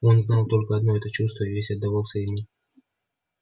он знал только одно это чувство и весь отдавался ему